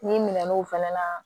N'i minɛn'o fɛnɛ na